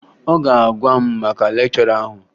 Ọ ga-agwa m maka lekchọra ahụ